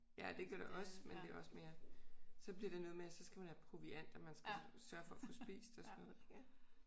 Ja det gør det også men det er også mere så bliver det noget med at så skal man have proviant og man skal sørge for at få spist og sådan noget